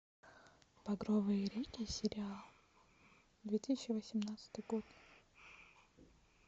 багровые реки сериал две тысячи восемнадцатый год